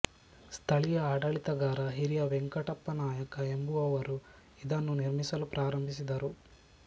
ಸ್ಥಳೀಯ ಆಡಳಿತಗಾರ ಹಿರಿಯ ವೆಂಕಟಪ್ಪ ನಾಯಕ ಎಂಬುವವರು ಇದನ್ನು ನಿರ್ಮಿಸಲು ಪ್ರಾರಂಭಿಸಿದರು